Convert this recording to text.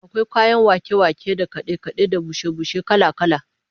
Akwai kayan wake-wake da kade-kade da bushe-bushe kala-kala